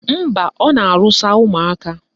Mba, ọ na-arụsa ụmụaka